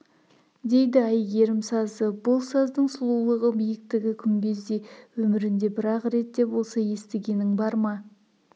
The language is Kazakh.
дейді әйгерім сазы бұл саздың сұлулығы биіктігі күмбездей өмірінде бір-ақ рет те болса естігенің бар ма